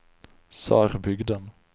Sörbygden